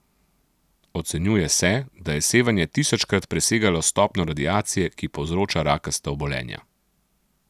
Ocenjuje se, da je sevanje tisočkrat presegalo stopnjo radiacije, ki povzroča rakasta obolenja.